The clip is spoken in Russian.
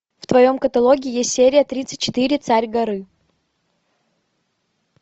в твоем каталоге есть серия тридцать четыре царь горы